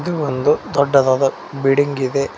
ಇದು ಒಂದು ದೊಡ್ಡದಾದ ಬಿಲ್ಡಿಂಗ್ ಇದೆ.